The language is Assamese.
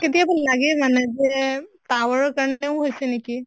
কেতিয়াবা লাগে মানে যে tower ৰ কাৰণেও হৈছে নেকি?